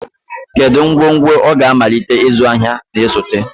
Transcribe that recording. Kedu ngwongwo ọ ga-amalite ịzụ ahịa na-esote?